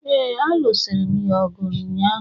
ee, a lụsiri'm ya ọgụ ụnyaahụ